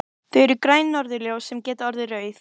Það eru græn norðurljós sem geta orðið rauð.